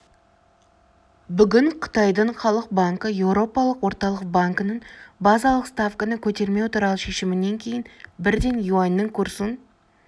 бүгін қытайдың халық банкі еуропалық орталық банкінің базалық ставканы көтермеу туралы шешімінен кейін бірден юаньнің курсын